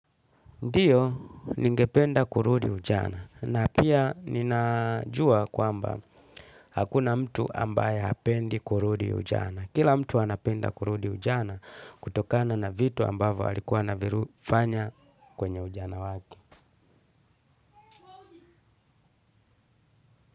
Ndio ningependa kurudi ujana na pia ninajua kwamba hakuna mtu ambaye hapendi kurudi ujana. Kila mtu anapenda kurudi ujana kutokana na vitu ambavo walikuwa anaviru fanya kwenye ujana wake.